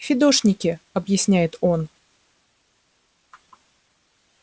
фидошники объясняет он